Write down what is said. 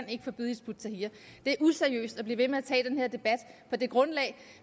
kan forbyde hizb ut tahrir det er useriøst at blive ved med at tage den her debat på det grundlag